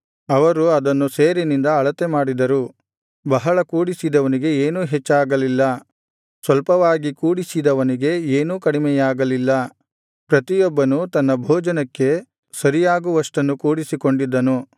ಅವರು ಅದನ್ನು ಸೇರಿನಿಂದ ಅಳತೆಮಾಡಿದರು ಬಹಳ ಕೂಡಿಸಿದವನಿಗೆ ಏನೂ ಹೆಚ್ಚಾಗಲಿಲ್ಲ ಸ್ವಲ್ಪವಾಗಿ ಕೂಡಿಸಿದವನಿಗೆ ಏನೂ ಕಡಿಮೆಯಾಗಲಿಲ್ಲ ಪ್ರತಿಯೊಬ್ಬನೂ ತನ್ನ ಭೋಜನಕ್ಕೆ ಸರಿಯಾಗುವಷ್ಟನ್ನು ಕೂಡಿಸಿಕೊಂಡಿದ್ದನು